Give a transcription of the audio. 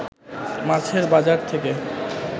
মাছের বাজার থেকে